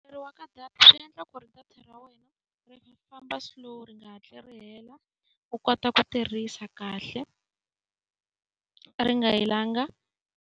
ka data swi endla ku ri data ra wena ri famba slow ri nga hatli ri hela, u kota ku tirhisa kahle ri nga helanga.